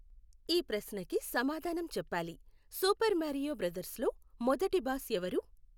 ఈ ప్రశ్నకి సమాధానం చెప్పాలి. సూపర్ మారియో బ్రదర్స్లో మొదటి బాస్ ఎవరు?